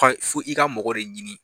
i ka mɔgɔ ye